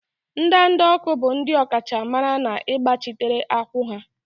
ndanda ọkụ bụ ndị ọkachamara n'ịgbachitere akwụ́ ha.